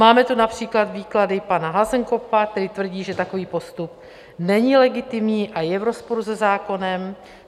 Máme tu například výklady pana Hasenkopfa, který tvrdí, že takový postup není legitimní a je v rozporu se zákonem.